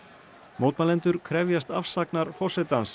mótmælendur krefjast afsagnar forsetans